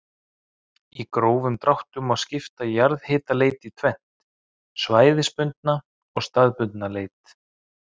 Í grófum dráttum má skipta jarðhitaleit í tvennt, svæðisbundna og staðbundna leit.